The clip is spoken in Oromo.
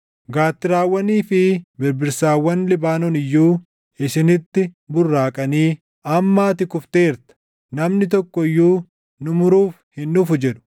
Gaattiraawwanii fi birbirsawwan Libaanoon iyyuu isinitti burraaqanii, “Amma ati kufteerta; namni tokko iyyuu nu muruuf hin dhufu” jedhu.